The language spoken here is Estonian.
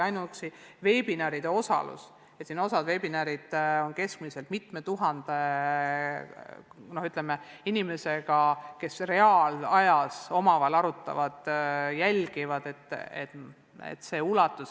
Ainuüksi veebiseminaridel osalemine – osal seminaridel on mitu tuhat inimest, kes reaalajas omavahel arutavad ja toimuvat jälgivad.